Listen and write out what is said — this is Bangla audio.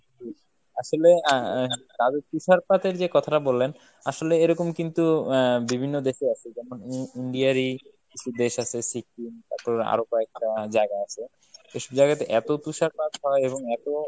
আসলে আহ তাদের তুষারপাতের যে কথাটা বললেন আসলে এরকম কিন্তু আহ বিভিন্ন দেশে আছে যেমন উম India এর ই কিছু দেশ আছে Sikkim তারপর আরো কয়েকটা জায়গা আছে এসব জায়গাতে এতো তুষারপাত হয় এবং এতো